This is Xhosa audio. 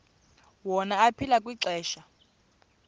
wona aphila kwixesha